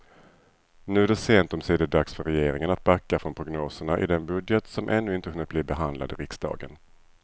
Nu är det sent omsider dags för regeringen att backa från prognoserna i den budget som ännu inte hunnit bli behandlad i riksdagen.